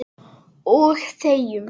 Og þegjum.